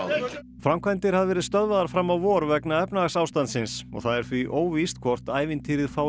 framkvæmdir hafa verið stöðvaðar fram á vor vegna efnahagsástandsins það er því óvíst hvort ævintýrið fái